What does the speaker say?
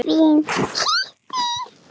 Erindum er svarað seint.